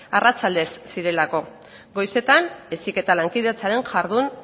arratsaldez zirelako goizetan heziketa lankidetzaren jardun